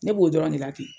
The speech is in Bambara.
Ne b'o dɔrɔn de la ten